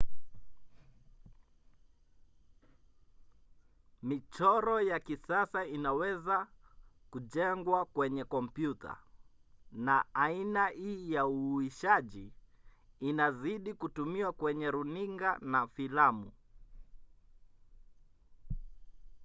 michoro ya kisasa inaweza kujengwa kwenye kompyuta na aina hii ya uhuishaji inazidi kutumiwa kwenye runinga na filamu